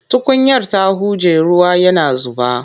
Tukunyar ta huje ruwa yana zuba.